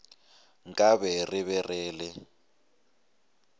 nkabe re be re le